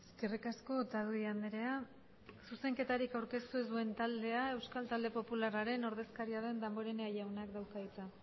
eskerrik asko otadui andrea zuzenketarik aurkeztu ez duen taldea euskal talde popularraren ordezkaria den damborenea jaunak dauka hitza